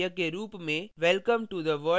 एक नियतकार्य के रूप में